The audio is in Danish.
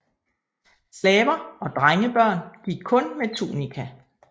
Slaver og drengebørn gik kun med tunika